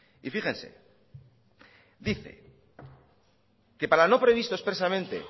y fíjense dice que para lo no previsto expresamente